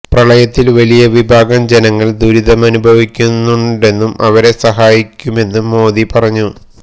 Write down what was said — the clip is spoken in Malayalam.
പ്രളയത്തില് വലിയ വിഭാഗം ജനങ്ങള് ദുരിതമനുഭവിക്കുന്നെന്നും അവരെ സഹായിക്കുമെന്നും മോഡി പറഞ്ഞു